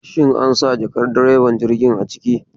Shin ansa jakar direban jirgin a ciki?